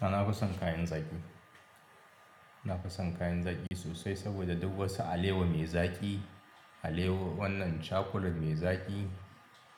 A na fason kayan zaki. Nafi son kayan zaƙi sosai saboda duk wasu alewa mai zaƙi cakulat mai zaƙi